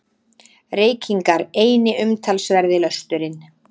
Reykingar eini umtalsverði lösturinn.